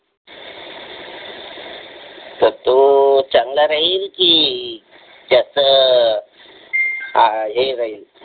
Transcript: तर तो चांगला राहिल कि ते अस हे राहिल